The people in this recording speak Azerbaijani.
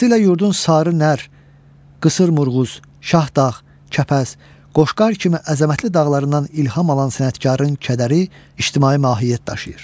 Vaxtilə yurdun sarı nər, qısır mürğuz, şahdağ, kəpəz, qoşqar kimi əzəmətli dağlarından ilham alan sənətkarın kədəri ictimai mahiyyət daşıyır.